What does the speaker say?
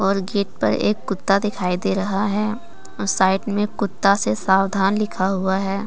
यहां गेट पे एक कुत्ता दिखाई दे रहा है साइड में कुत्ता से सावधान लिखा हुआ है।